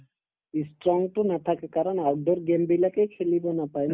ই strong তো নাথাকে কাৰণ outdoor game বিলাকে খেলিব নাপাই নাপায়